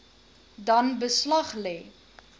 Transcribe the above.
dan beslag lê